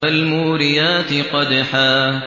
فَالْمُورِيَاتِ قَدْحًا